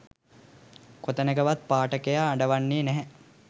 කොතැනකවත් පාඨකයා අඬවන්නේ නැහැ.